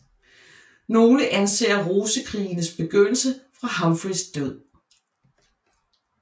Nogle anser Rosekrigenes begyndelse fra Humphreys død